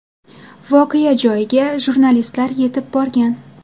Voqea joyiga jurnalistlar yetib borgan.